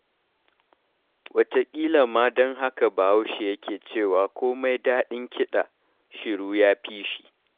Wataƙila ma don haka Bahaushe yake cewa; komai daɗin kiɗa, shiru ya fi shi.